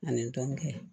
Ani dɔnnikɛ